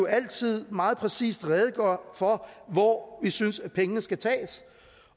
altid meget præcist rede for hvor vi synes pengene skal tages